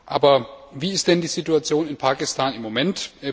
Aber wie ist denn die Situation in Pakistan im Moment?